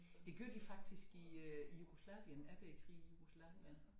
Det gjorde de faktisk i øh i Jugoslavien efter æ krig i Jugoslavien